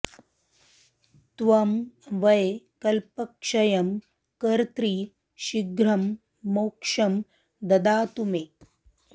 त्वं वै कल्पक्षयं कर्त्री शीघ्रं मोक्षं ददातु मे